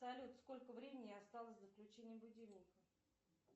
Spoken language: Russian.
салют сколько времени осталось до включения будильника